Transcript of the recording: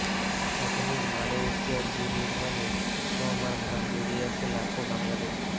আধুনিক মালয়েশিয়া বিনির্মাণে শ্রম আর ঘাম জড়িয়ে আছে লাখো বাংলাদেশি